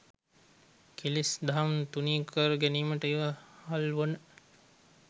කෙලෙස් දහම් තුනී කර ගැනීමට ඉවහල්වන